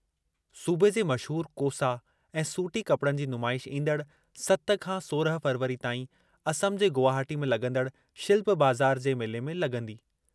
सूबे जे मशहूरु कोसा ऐं सूटी कपड़नि जी नुमाइश ईंदड़ सत खां सोरहं फ़रवरी ताईं असम जे गुवाहाटी में लगं॒दड़ शिल्प बाज़ार जे मेले में लगं॒दी।